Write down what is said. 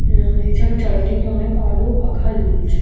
ইয়ে এছাড়া চারিদিকে অনেক আলো পাখা জ্বলছে ।